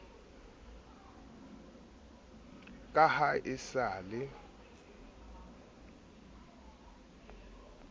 ka ha e sa le